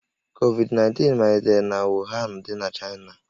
Covid-19 malitere na Wuhan dị n'Chaịna